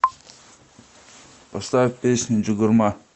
поставь песню чугурма